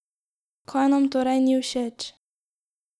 Kaj nam torej ni všeč?